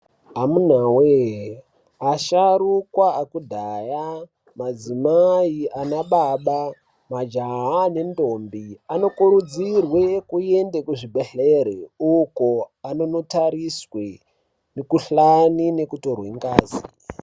Amunawe asharukwa akudhaya, madzimai anababa, majaha nendombi anokurudzirwe kuende kuzvibhedhlera uko anonotariswe mikhuhlani nekutorwe ngazi.